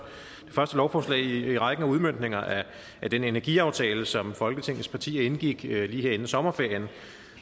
lovforslag i rækken af udmøntninger af den energiaftale som folketingets partier indgik lige her inden sommerferien